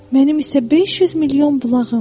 Mənim isə 500 milyon bulağım.